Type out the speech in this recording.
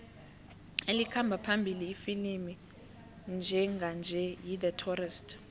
elikhamba phambili ifilimu njenganje yi the tourist